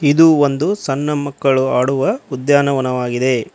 ಇದು ಒಂದು ಸಣ್ಣ ಮಕ್ಕಳು ಆಡುವ ಉದ್ಯಾನವನವಾಗಿದೆ.